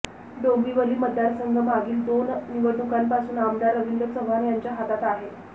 डोंबिवली मतदारसंघ मागील दोन निवडणुकांपासून आमदार रवींद्र चव्हाण यांच्या हातात आहे